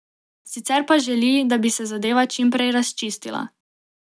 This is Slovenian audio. Sicer pa želi, da bi se zadeva čim prej razčistila.